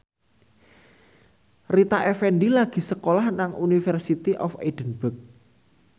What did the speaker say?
Rita Effendy lagi sekolah nang University of Edinburgh